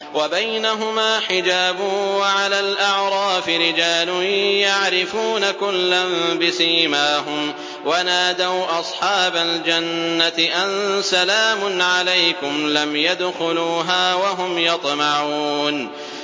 وَبَيْنَهُمَا حِجَابٌ ۚ وَعَلَى الْأَعْرَافِ رِجَالٌ يَعْرِفُونَ كُلًّا بِسِيمَاهُمْ ۚ وَنَادَوْا أَصْحَابَ الْجَنَّةِ أَن سَلَامٌ عَلَيْكُمْ ۚ لَمْ يَدْخُلُوهَا وَهُمْ يَطْمَعُونَ